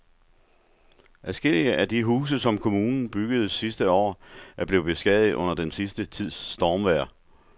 Adskillige af de huse, som kommunen byggede sidste år, er blevet beskadiget under den sidste tids stormvejr.